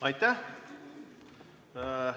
Aitäh!